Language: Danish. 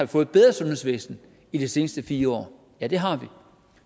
fået et bedre sundhedsvæsen i de sidste fire år ja det har vi